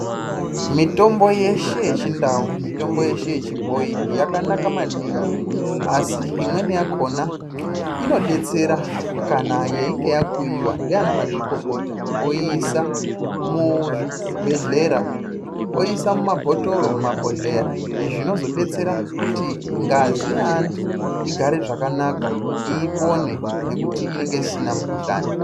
Mitombo yeshe yechindau ,mitombo yeshe yechibhoyi yakanaka maningi asi imweni yakona inodetsera kana yeinge yakuyiwa ndiana mwazvikokota oisa muzvibheleya, oisa mumabhotoro mumabhohleya izvi zvinozodetsera kuti ngazi yevantu igare zvakanaka ipone neekuti inonga isina mukhuhlani.